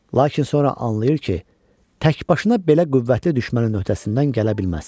Lakin sonra anlayır ki, təkbaşına belə qüvvətli düşmənin öhdəsindən gələ bilməz.